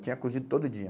Tinha cozido todo dia.